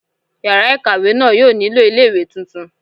Yàrá ìkàwé náà yóò nílò ìwé tuntun